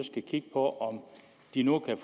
ikke kigge på om de nu kan